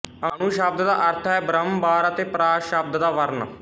ਅਨੁ ਸ਼ਬਦ ਦਾ ਅਰਥ ਹੈ ਬਾਰੰਬਾਰ ਅਤੇ ਪ੍ਰਾਸ ਸ਼ਬਦ ਦਾ ਵਰਣ